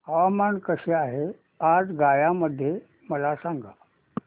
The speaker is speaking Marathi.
हवामान कसे आहे आज गया मध्ये मला सांगा